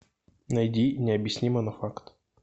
найди необъяснимо но факт